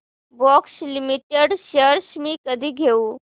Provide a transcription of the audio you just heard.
Bosch Limited shares मी कधी घेऊ